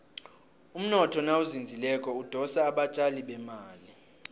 umnotho nawuzinzileko udosa abatjali bemali